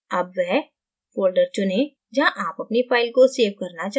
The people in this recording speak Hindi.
अब वह folder चुनें जहाँ आप अपनी file को सेव करना चाहते हों